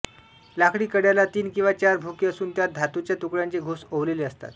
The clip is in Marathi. लाकडी कड्याला तीन किंवा चार भोके असून त्यांत धातूच्या तुकड्यांचे घोस ओवलेले असतात